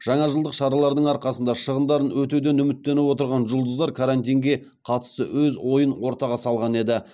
жаңажылдық шаралардың арқасында шығындарын өтеуден үміттеніп отырған жұлдыздар карантинге қатысты өз ойын ортаға салған еді